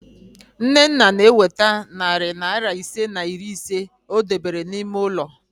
Nnenna na-eweta narị naịra ise na iri ise o debere n'ime ụlọ